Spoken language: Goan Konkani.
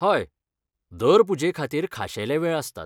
हय, दर पुजेखातीर खाशेले वेळ आसतात.